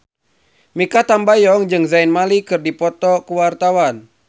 Mikha Tambayong jeung Zayn Malik keur dipoto ku wartawan